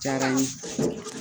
diyara n ye.